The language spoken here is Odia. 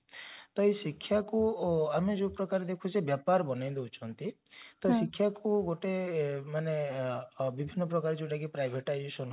ତ ଏଇ ଶିକ୍ଷାକୁ ଆମେ ଯୋଉ ପ୍ରକାର ଦେଖୁଛେ ବ୍ୟାପାର ବନେଇ ଦେଉଛନ୍ତି ତ ଶିକ୍ଷା କୁ ଗୋଟେ ମାନେ ଅବିସ୍ମକ ଭାବରେ ଯାଉଟାକି privatization